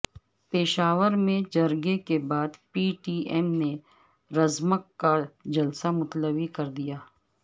پشاور میں جرگے کے بعد پی ٹی ایم نے رزمک کا جلسہ ملتوی کر دیا